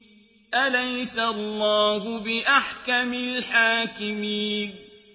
أَلَيْسَ اللَّهُ بِأَحْكَمِ الْحَاكِمِينَ